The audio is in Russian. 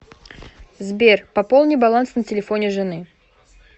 сбер пополни баланс на телефоне жены